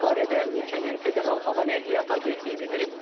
Bu barədə ölkənin federal hava nəqliyyatı agentliyi bildirib.